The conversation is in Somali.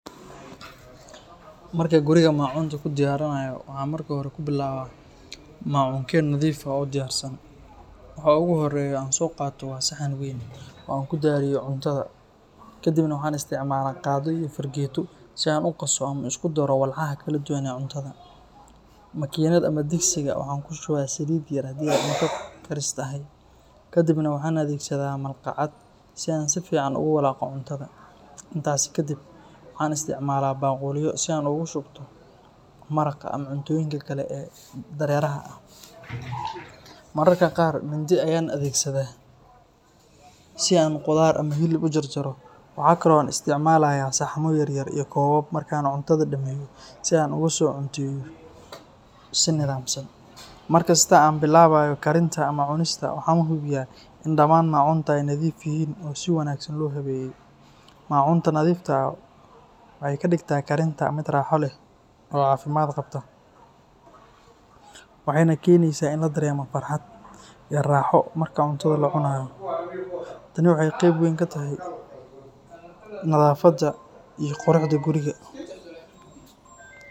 Markaan guriga macunta ku diyaarinayo, waxaan marka hore ku bilaabaa macunkee nadiif ah oo diyaarsan. Waxa ugu horreeya aan soo qaato waa saxan weyn oo aan ku diyaariyo cuntada, kadibna waxaan isticmaalaa qaaddo iyo fargeeto si aan u qaso ama u isku daro walxaha kala duwan ee cuntada. Makiinad ama digsiga waxaan ku shubaa saliid yar haddii ay cunto karis tahay, kadibna waxaan adeegsadaa malqacad si aan si fiican ugu walaaqo cuntada. Intaasi kadib, waxaan isticmaalaa baaquliyo si aan ugu shubto maraqa ama cuntooyinka kale ee dareeraha ah. Mararka qaar, mindi ayaan adeegsadaa si aan khudaar ama hilib u jarjaro. Waxa kale oo aan isticmaalayaa saxamo yar-yar iyo koobab marka aan cuntada dhameeyo si aan ugu soo cunteeyo si nidaamsan. Markasta oo aan bilaabayo karinta ama cunista, waxaan hubiyaa in dhammaan macunta ay nadiif yihiin oo si wanaagsan loo habeeyey. Macunta nadiifta ah waxay ka dhigtaa karinta mid raaxo leh oo caafimaad qabta, waxayna keenaysaa in la dareemo farxad iyo raaxo marka cuntada la cunayo. Tani waxay qeyb weyn ka tahay nadaafadda iyo quruxda guriga.